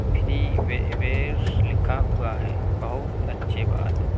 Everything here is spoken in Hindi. फ्री वे वेस लिखा हुआ है | बहुत अच्छी बात है।